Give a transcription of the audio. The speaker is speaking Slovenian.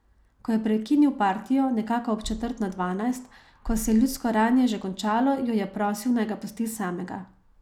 Ko je prekinil partijo, nekako ob četrt na dvanajst, ko se je ljudsko rajanje že končalo, jo je prosil, naj ga pusti samega.